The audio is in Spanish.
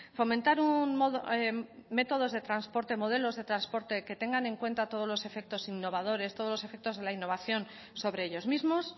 fomentar métodos de transporte modelos de transporte que tengan en cuenta todos los efectos innovadores todos los efectos de la innovación sobre ellos mismos